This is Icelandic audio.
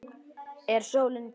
Er sólin kyrr?